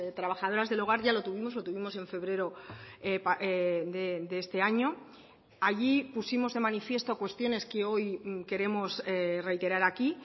trabajadoras del hogar ya lo tuvimos lo tuvimos en febrero de este año allí pusimos de manifiesto cuestiones que hoy queremos reiterar aquí